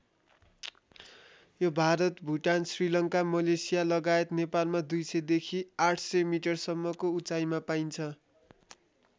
यो भारत भुटान श्रीलङ्का मलेसिया लगायत नेपालमा २०० देखि ८०० मिटरसम्मको उचाइमा पाइन्छ।